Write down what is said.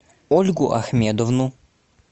ольгу ахмедовну